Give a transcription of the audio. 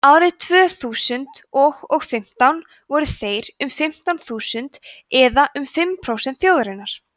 árið tvö þúsund og og fimmtán voru þeir um fimmtán þúsund eða um fimm prósent þjóðarinnar